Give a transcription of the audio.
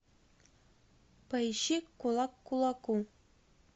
поищи кулак к кулаку